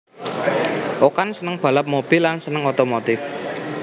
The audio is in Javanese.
Okan seneng balap mobil lan seneng otomotif